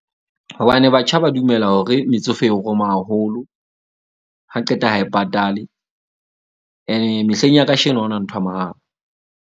Hobane batjha ba dumela hore metsofe e roma haholo. Ha qeta ha e patale. Ene mehleng ya kasheno, ha hona nthwa mahala.